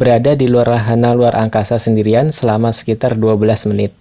berada di luar wahana luar angkasa sendirian selama sekitar 12 menit.